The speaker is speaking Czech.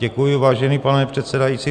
Děkuji, vážený pane předsedající.